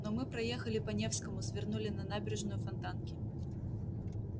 но мы проехали по невскому свернули на набережную фонтанки